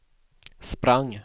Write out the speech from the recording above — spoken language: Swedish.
sprang